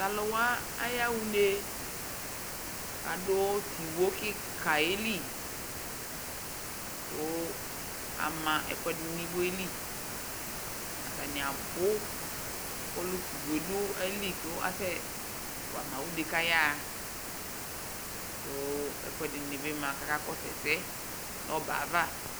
aluwa yaha une ku adu tɩ woe kikayelɩ ku ama ɛkuɛdi nu iwoe li atani abu ka du iwoeli kɔka sɛsɛ